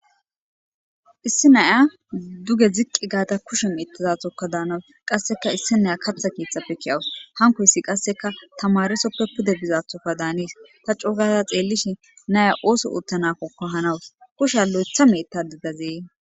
issi naya duge ziqqi gaata kushe miittazathokka daanawus qasseka issi naya kapha keetxappekkiyawus hankoyssi qasseka tamaresoppe pude bizathoka daanis ta coo gaata xeellishi naya ooso uttanakokko hanawus kusha lo7etha mietta didazee